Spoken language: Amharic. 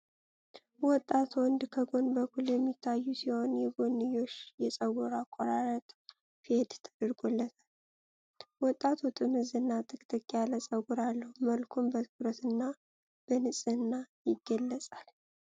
ወጣት ወንድ ከጎን በኩል የሚታይ ሲሆን፣ የጎንዮሽ የፀጉር አቆራረጥ ፌድ ተደርጎለታል። ወጣቱ ጥምዝ እና ጥቅጥቅ ያለ ፀጉር አለው፤ መልኩም በትኩረትና በንጽህና ይገለጻል።